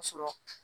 Ka sɔrɔ